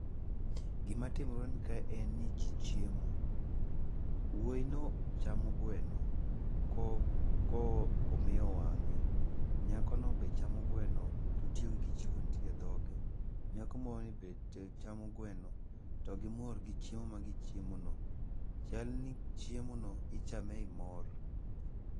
Gi matimore kae en ni ji chiemo. Wuoyino chamo gweno, komiyo wang'e. Nyakono be chamo gweno totiyo gi kijiko nitie e dhoge, nyako moroni be chamo gweno, to gimor gi chiemo ma gichiemono. Chalni chiemo no ichame ei mor.